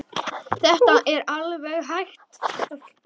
Þetta er alveg ágæt stelpa.